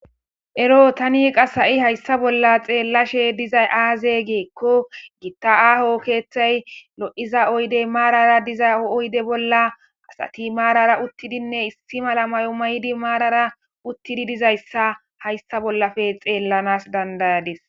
Ero tani qas ha'i hayssa bolla xeellashe dizay aaze geekko gitta aaho keeththay lo7iza oydey maarara diza oyde bolla asati maarara uttidinne issi mala may'o may'di maarara uttidi dizayssa hayssa bollafe xeellanas dandayadis